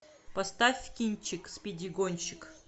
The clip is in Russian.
поставь кинчик спиди гонщик